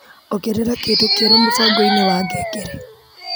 Ongerera kĩndũ kĩeru mũbango-inĩ wa ngengere